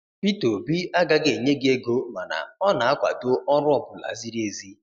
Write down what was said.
Peter obi agaghị enye gị ego mana ọ na-akwado ọrụ ọ bụla ziri ezi